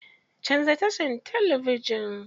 Canza tashar talabijin.